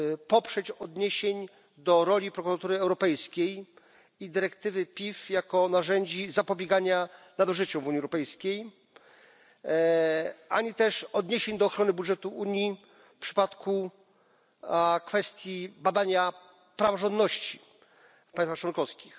poprzeć odniesień do roli Prokuratury Europejskiej i dyrektywy PIF, jako narzędzi zapobiegania nadużyciom w Unii Europejskiej, ani też odniesień do ochrony budżetu Unii w przypadku kwestii badania praworządności w państwach członkowskich.